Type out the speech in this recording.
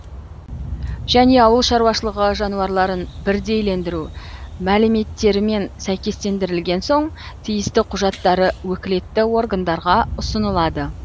және ауылшаруашылығы жануарларын бірдейлендіру мәліметтерімен сәйкестендірілген соң тиісті құжаттары өкілетті органдарға ұсынылады